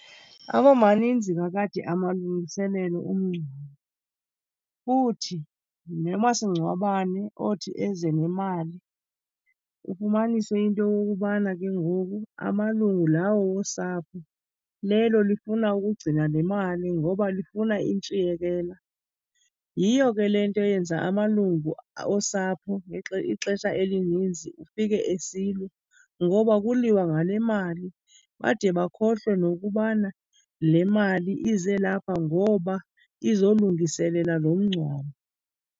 Aba maninzi kakade amalungiselelo omngcwabo futhi nomasingcwabane othi eze nemali ufumanise into yokokubana ke ngoku amalungu lawo wosapho lelo lifuna ukugcina le mali ngoba lifuna intshiyekela. Yiyo ke le nto iyenza amalungu osapho ixesha elininzi ufike esilwa ngoba kuliwa ngale mali bade bakhohlwe nokubana le mali ize lapha ngoba izolungiselela loo mngcwabo.